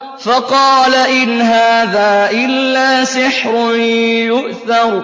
فَقَالَ إِنْ هَٰذَا إِلَّا سِحْرٌ يُؤْثَرُ